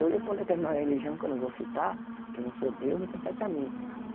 Eu ia para uma determinada religião, que eu não vou citar, que eu não sou Deus, não compete a mim.